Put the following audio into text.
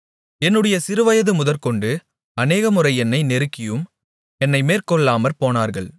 என்னுடைய சிறுவயது முதற்கொண்டு அநேகமுறை என்னை நெருக்கியும் என்னை மேற்கொள்ளாமற் போனார்கள்